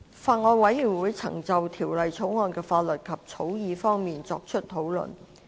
法案委員會曾就《條例草案》的法律及草擬方面，作出討論。